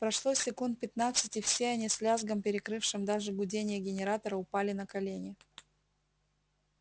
прошло секунд пятнадцать и все они с лязгом перекрывшим даже гудение генератора упали на колени